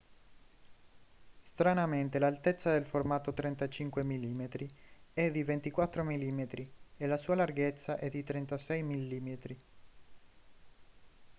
stranamente l'altezza del formato 35 mm è di 24 mm e la sua larghezza è di 36 mm